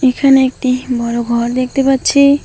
এখানে একটি বড় ঘর দেখতে পাচ্ছি।